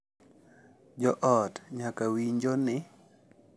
Jo ot nyaka winjo ni .